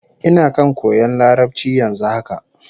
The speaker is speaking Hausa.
Ina kan koyan Larabci yanzu haka